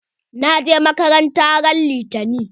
Na je makaranta ran litani.